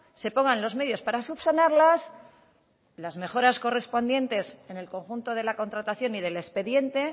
se pongan los medios para subsanarlas las mejoras correspondientes en el conjunto de la contratación y del expediente